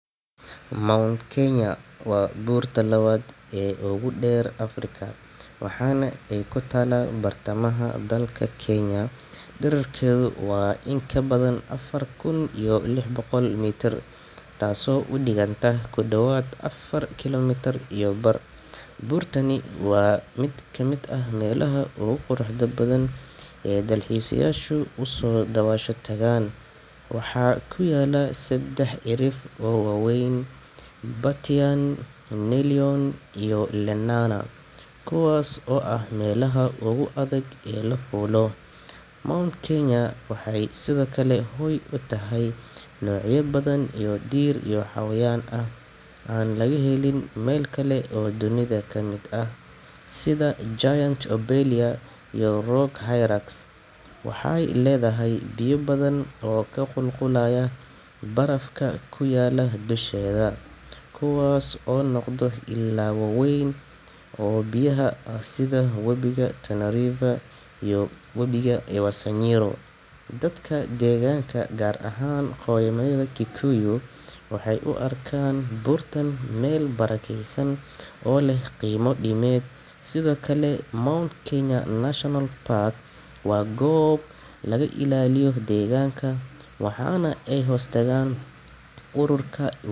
Mount Kenya waa buurta labaad ee ugu dheer Afrika, waxaana ay ku taallaa bartamaha dalka Kenya. Dhererkeedu waa in ka badan afar kun iyo lix boqol mitir, taasoo u dhiganta ku dhawaad afar kilomitir iyo bar. Buurtani waa mid ka mid ah meelaha ugu quruxda badan ee dalxiiseyaasha u soo daawasho tagaan. Waxaa ku yaalla saddex cirif oo waaweyn: Batian, Nelion, iyo Lenana, kuwaas oo ah meelaha ugu adag ee la fuulo. Mount Kenya waxa ay sidoo kale hoy u tahay noocyo badan oo dhir iyo xayawaan ah oo aan laga helin meel kale oo dunida ka mid ah, sida giant lobelia iyo rock hyrax. Waxa ay leedahay biyo badan oo ka qulqulaya barafka ku yaalla dusheeda, kuwaas oo noqda ilo waaweyn oo biyaha ah sida Webiga Tana iyo Webiga Ewaso Nyiro. Dadka deegaanka, gaar ahaan qoomiyadda Kikuyu, waxay u arkaan buurta meel barakeysan oo leh qiimo diimeed. Sidoo kale, Mount Kenya National Park waa goob laga ilaaliyo deegaanka, waxaana ay hoostagtaa ururka U.